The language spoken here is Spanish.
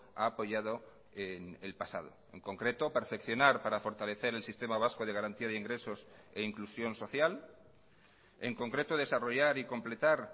ha apoyado en el pasado en concreto perfeccionar para fortalecer el sistema vasco de garantía de ingresos e inclusión social en concreto desarrollar y completar